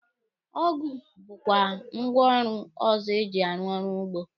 Ọgụ bụkwa ngwaọrụ ọzọ eji arụ ọrụ ugbo.